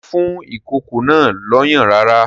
Ṣé ó fún ìkókó náà lọ́yàn rárá?